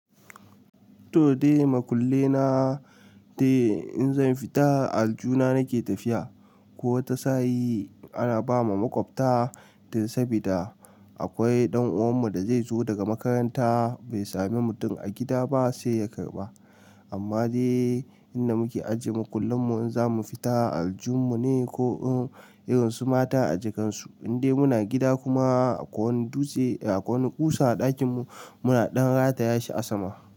To dai, makulle na dai in zan fita aljihuna nake tafiya. Ko wata sa'i ana ba ma maƙwabta dan sabida akwai ɗan uwan mu da zai zo daga makaranta bai sami mutum a gida ba sai ya karba. Amma dai inda muke ajiye maƙullen mu in za mu fita aljun mu ne ko in irin su mata a jakar su. In dai muna gida kuma akwai wani dutse, a akwai wani ƙusa a ɗakin mu muna ɗan rata ya shi a sama.